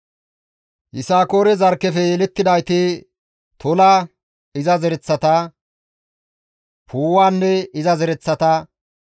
Yisakoore zarkkefe yelettidayti Tola iza zereththata, Puuwanne iza zereththata,